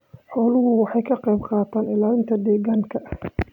Xooluhu waxay ka qayb qaataan ilaalinta deegaanka.